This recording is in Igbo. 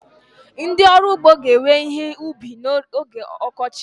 Ndị ọrụ ugbo ga-ewe ihe ubi ha n'oge ọkọchị.